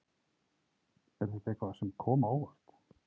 Er þetta eitthvað sem kom á óvart?